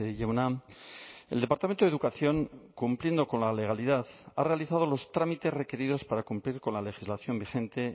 jauna el departamento de educación cumpliendo con la legalidad ha realizado los trámites requeridos para cumplir con la legislación vigente